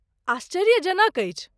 आश्चर्यजनक अछि।